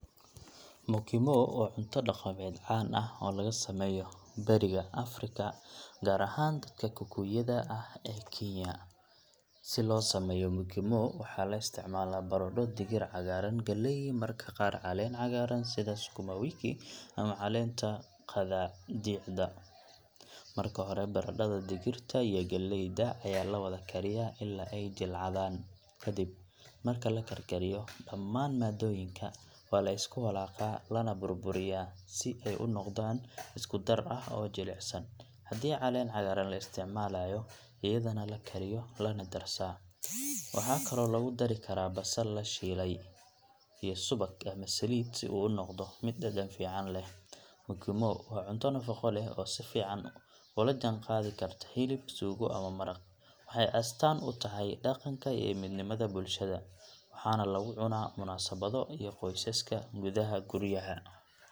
Mukimo waa cunto dhaqameed caan ah oo laga sameeyo bariga Afrika, gaar ahaan dadka Kikuyu-da ah ee Kenya. Si loo sameeyo mukimo, waxaa la isticmaalaa baradho, digir cagaaran, galley, iyo mararka qaar caleen cagaaran sida sukumawiki ama caleenta qadaadiicda. Marka hore, baradhada, digirta iyo galleyda ayaa la wada kariyaa ilaa ay jilcadaan. Kadib marka la karkariyo, dhammaan maaddooyinka waa la isku walaaqaa lana burburiyaa si ay u noqdaan isku dar ah oo jilicsan. Haddii caleen cagaaran la isticmaalayo, iyadana la kariyo lana darsaa. Waxaa kaloo lagu dari karaa basal la shiilay iyo subag ama saliid si uu u noqdo mid dhadhan fiican leh. Mukimo waa cunto nafaqo leh oo si fiican ula jaanqaadi karta hilib, suugo, ama maraq. Waxay astaan u tahay dhaqanka iyo midnimada bulshada, waxaana lagu cunaa munaasabado iyo qoysaska gudaha guryaha.